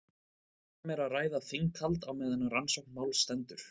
Ef um er að ræða þinghald á meðan rannsókn máls stendur.